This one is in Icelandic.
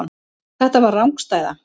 Þetta var rangstæða.